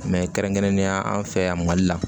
kɛrɛnkɛrɛnnenya an fɛ yan mali la